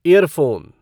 year phone